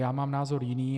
Já mám názor jiný.